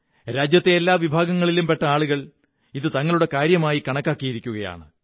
രാജ്യത്തെ എല്ലാ വിഭാഗങ്ങളിലും പെട്ട ആളുകൾ ഇത് തങ്ങളുടെ കാര്യമായി കണക്കാക്കിയിരിക്കുകയാണ്